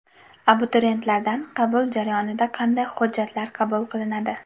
Abituriyentlardan qabul jarayonida qanday hujjatlar qabul qilinadi?